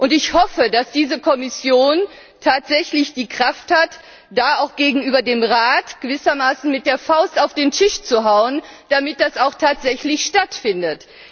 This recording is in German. Und ich hoffe, dass diese Kommission tatsächlich die Kraft hat, da auch gegenüber dem Rat gewissermaßen mit der Faust auf den Tisch zu hauen, damit das auch tatsächlich stattfindet.